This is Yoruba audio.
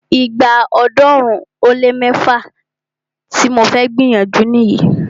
Ìgbà ọ̀ọ́dúnrún ó lé mẹ́fá tí mo fẹ́ gbìyànjú nìyí.